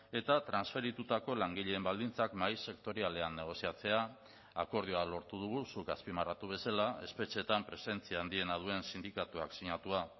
eta transferitutako langileen baldintzak mahai sektorialean negoziatzea akordioa lortu dugu zuk azpimarratu bezala espetxeetan presentzia handiena duen sindikatuak sinatua